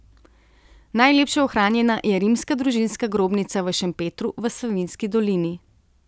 Najlepše ohranjena je rimska družinska grobnica v Šempetru v Savinjski dolini.